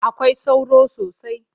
Akwai sauro sosai.